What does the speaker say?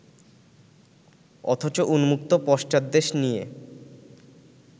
অথচ উন্মুক্ত পশ্চাৎদেশ নিয়ে